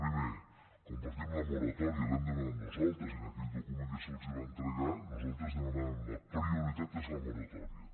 primer compartim la moratòria l’hem demanat nosaltres i en aquell document que se’ls va entregar nosaltres demanàvem la prioritat és la moratòria